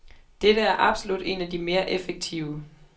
Dette er absolut en af de mere effektive.